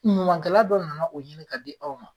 Ɲumankɛla dɔ nana o ɲini k'a di aw ma